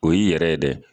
O y'i yɛrɛ ye dɛ